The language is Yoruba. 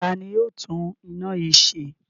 Ta ni yóò tún iná yìí ṣe?